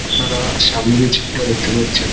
আপনারা সামনে যে ছবিটা দেখতে পাচ্ছেন--